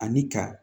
Ani ka